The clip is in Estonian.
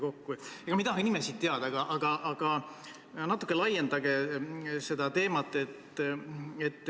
Ega ma ei tahagi nimesid teada, aga natuke laiendage seda teemat.